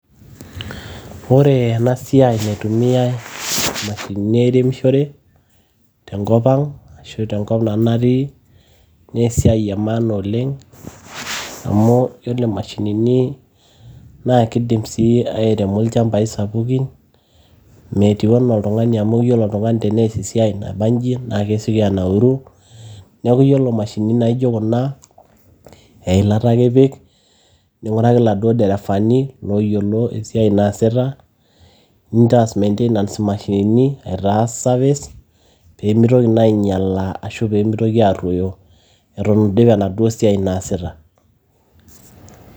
Ore ena siai naitumiai imashinini airemishore tenkop ang ashu tenkop nanu natii nee esiai e maana oleng amu yiolo imashinini naa kidim sii airemo ilchambai sapukin metiu enaa oltung'ani amu ore tenias esiai nabanji naa kesioki anauru neeku yiolo imashinini naijo kuna eilata akipik ning'uraki iladuo derefani looyiolo esiai naasita nintaas mantainance imashinini aitaas service peemitoki naa ainyiala ashu peemitoki aarruoyo itu idip enaduo siai naasita.